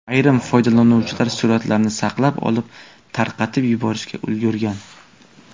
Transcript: Ayrim foydalanuvchilar suratlarni saqlab olib, tarqatib yuborishga ulgurgan.